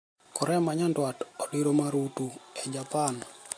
Korea ma nyandwat odiro marutu e Japan